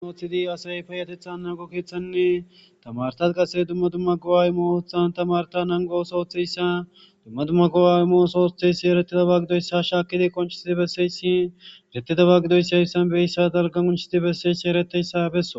Dhoqu oththidi asayi tamaretane payateta naguw qassi dumma dumma tamareti dumma dumma gi'a imiya oso othishe diza shakidi qoncissidi besiya iza giddishin qassi besishe dees.